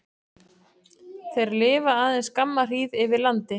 Þeir lifa aðeins skamma hríð yfir landi.